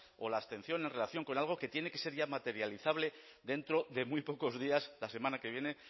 o la abstención en relación con algo que tiene que ser ya materializable dentro de muy pocos días la semana que viene